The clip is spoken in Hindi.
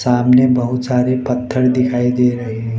सामने बहुत सारे पत्थर दिखाई दे रहे हैं।